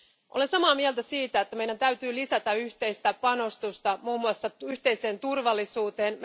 Olen samaa mieltä siitä, että meidän täytyy lisätä yhteistä panostusta muun muassa yhteiseen turvallisuuteen.